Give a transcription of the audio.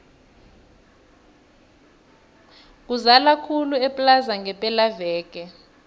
kuzala khulu eplaza ngepela veke